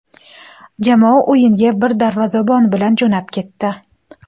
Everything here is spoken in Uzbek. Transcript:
Jamoa o‘yinga bir darvozabon bilan jo‘nab ketdi.